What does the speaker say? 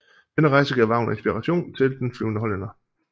Denne rejse gav Wagner inspiration til Den flyvende hollænder